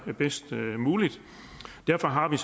bedst muligt derfor har vi